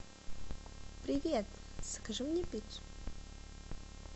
привет закажи мне пиццу